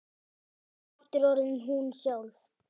Er aftur orðin hún sjálf.